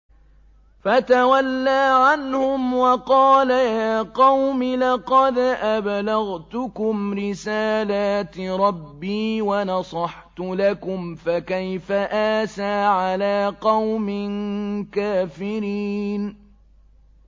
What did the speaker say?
فَتَوَلَّىٰ عَنْهُمْ وَقَالَ يَا قَوْمِ لَقَدْ أَبْلَغْتُكُمْ رِسَالَاتِ رَبِّي وَنَصَحْتُ لَكُمْ ۖ فَكَيْفَ آسَىٰ عَلَىٰ قَوْمٍ كَافِرِينَ